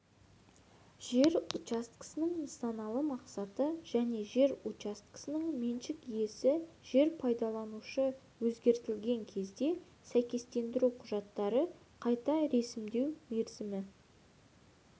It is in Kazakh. жер учаскесінің нысаналы мақсаты және жер учаскесінің меншік иесі жер пайдаланушы өзгертілген кезде сәйкестендіру құжаттарды қайта ресімдеу мерзімі